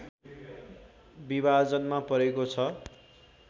विभाजनमा परेको छ